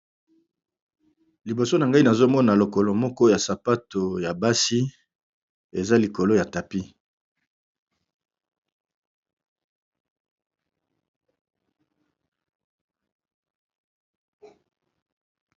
Liboso na ngai nazomona lokolo moko ya sapato ya basi eza likolo ya tapi.